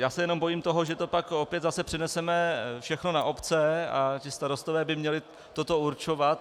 Já se jenom bojím toho, že to pak opět zase přeneseme všechno na obce a ti starostové by měli toto určovat.